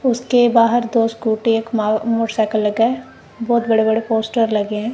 उसके बाहर दो स्कूटी एक मा मोटरसाइकिल लगा है बहोत बड़े बड़े पोस्टर लगे हैं।